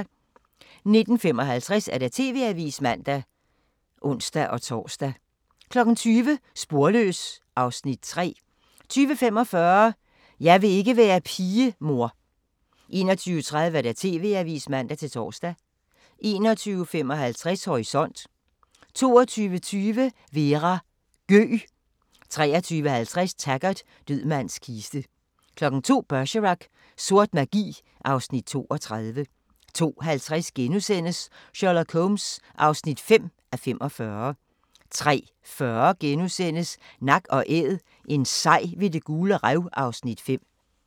19:55: TV-avisen (man og ons-tor) 20:00: Sporløs (3:8) 20:45: Jeg vil ikke være pige, mor 21:30: TV-avisen (man-tor) 21:55: Horisont 22:20: Vera: Gøg 23:50: Taggart: Død mands kiste 02:00: Bergerac: Sort magi (Afs. 32) 02:50: Sherlock Holmes (5:45)* 03:40: Nak & Æd – en sej ved Det Gule Rev (Afs. 5)*